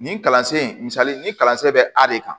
Nin kalansen misali ni kalansen bɛ a de kan